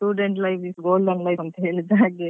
ಹೌದೌದು ಅದೇ ಹೇಳ್ತಾರಲ್ವ student life is Golden life ಅಂತ ಹೇಳಿದ್ದಾಗೆ.